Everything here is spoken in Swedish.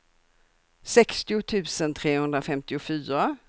sextio tusen trehundrafemtiofyra